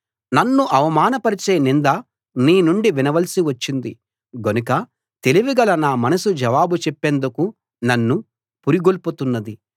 నన్ను అవమానపరిచే నింద నీ నుండి వినవలసి వచ్చింది గనుక తెలివిగల నా మనసు జవాబు చెప్పేందుకు నన్ను పురిగొల్పుతున్నది